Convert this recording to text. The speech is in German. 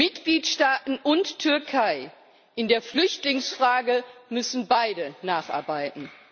Mitgliedstaaten und Türkei in der Flüchtlingsfrage müssen beide nacharbeiten.